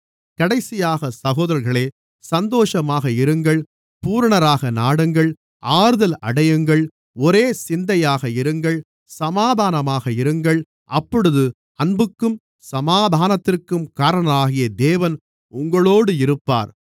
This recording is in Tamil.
கடைசியாக சகோதரர்களே சந்தோஷமாக இருங்கள் பூரணராக நாடுங்கள் ஆறுதல் அடையுங்கள் ஒரே சிந்தையாக இருங்கள் சமாதானமாக இருங்கள் அப்பொழுது அன்புக்கும் சமாதானத்திற்கும் காரணராகிய தேவன் உங்களோடு இருப்பார்